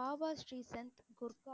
Baba Sreesanth